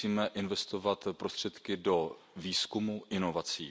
My musíme investovat prostředky do výzkumu a inovací.